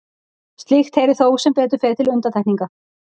slíkt heyrir þó sem betur fer til undantekninga